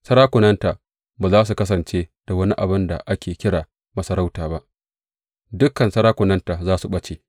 Sarakunanta ba za su kasance da wani abin da ake kira masarauta ba, dukan sarakunanta za su ɓace.